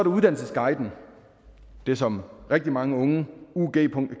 uddannelsesguiden det som rigtig mange unge